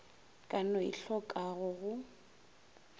ka no e tlhokago go